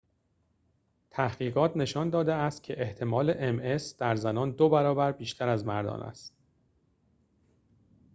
تحقیقات نشان داده است که احتمال ام اس در زنان دوبرابر بیشتر از مردان است